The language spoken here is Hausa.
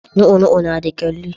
Lu'u lu'u na da kalli